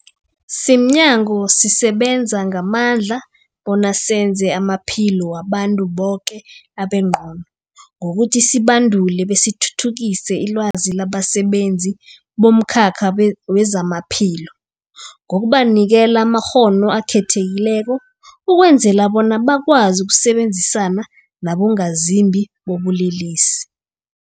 Simnyango, sisebenza ngamandla bona senze amaphilo wabantu boke abengcono ngokuthi sibandule besithuthukise ilwazi labasebenzi bomkhakha wezamaphilo ngokubanikela amakghono akhethekileko ukwenzela bona bakwazi ukusebenzisana nabongazimbi bobulelesi.